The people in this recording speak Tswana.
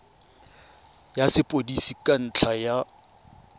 ya sepodisi ka ntlha ya